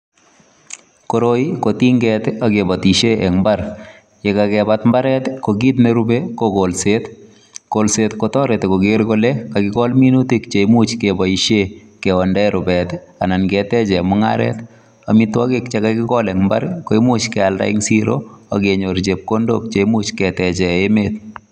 Koroi ko tinget ak kibatishe eng imbar ye kakebat imbaret ko kit ne rubei ko kolset, kolset kotoreti koger kole kakikol minutik cheimuch keboishe keondae rubet anan keteche mungaret. Amitwogik che kakikol eng imbar koimuch kealde eng siro ak kenyor chepkondok che imuch keteche emet.